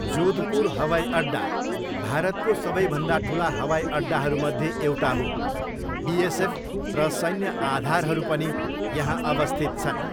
जोधपुर हवाईअड्डा भारतको सबैभन्दा ठुला हवाईअड्डाहरूमध्ये एउटा हो, बिएसएफ र सैन्य आधारहरू पनि यहाँ अवस्थित छन्।